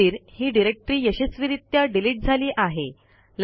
टेस्टदीर ही डिरेक्टरी यशस्वीरित्या डिलीट झाली आहे